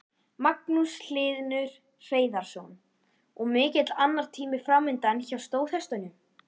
Magnús Hlynur Hreiðarsson: Og mikill annatími framundan hjá stóðhestunum?